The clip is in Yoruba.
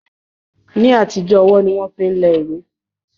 Ní àtijọ́ ọwọ́ ni wọ́n máa ń fi lẹ ìwé